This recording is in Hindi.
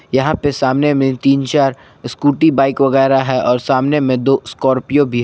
यहां पे सामने में तीन चार स्कूटी बाइक वगैर है और सामने में दो स्कॉर्पियो भी है।